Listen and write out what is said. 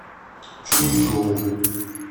чунчжоу